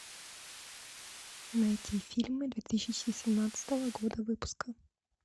найти фильмы две тысячи семнадцатого года выпуска